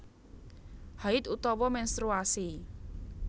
Haidh utawa ménstruasi